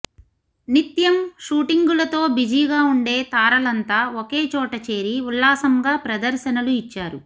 నిత్యం షూటింగులతో బిజీగా ఉండే తారలంతా ఒకే చోట చేరి ఉల్లాసంగా ప్రదర్శనలు ఇచ్చారు